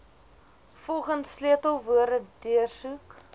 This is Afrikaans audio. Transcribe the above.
volgens sleutelwoorde deursoek